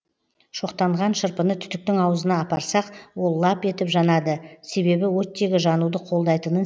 шоқтанған шырпыны түтіктің аузына апарсақ ол лап етіп жанады себебі оттегі жануды қолдайтынын